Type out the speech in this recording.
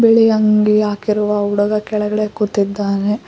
ಬಿಳಿ ಅಂಗಿ ಹಾಕಿರುವ ಹುಡುಗ ಕೆಳಗಡೆ ಕುಂತಿದ್ದಾನೆ.